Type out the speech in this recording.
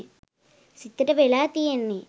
සිතට වෙලා තියෙන්නේ.